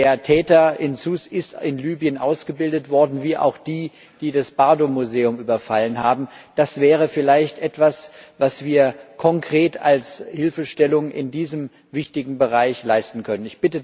Denn der Täter von Sousse ist in Libyen ausgebildet worden, ebenso wie auch die, die das Bardo Museum überfallen haben. Das wäre vielleicht etwas, was wir konkret als Hilfestellung in diesem wichtigen Bereich leisten können.